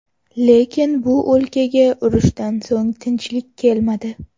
Lekin bu o‘lkaga urushdan so‘ng tinchlik kelmadi.